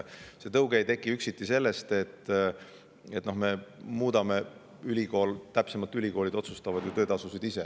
See tõuge ei teki üksiti sellest, et me muudame ülikoolide, sest ülikoolid otsustavad töötasusid ise.